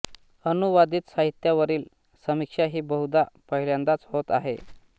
अनुवादित साहित्यावरील समीक्षा ही बहुधा पहिल्यांदाच होत आहे